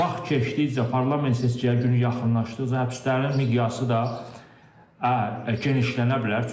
Vaxt keçdikcə parlament seçkiyə günü yaxınlaşdıqca həbslərin miqyası da genişlənə bilər.